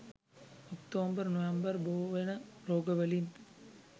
October November බෝවෙන රෝගවලින්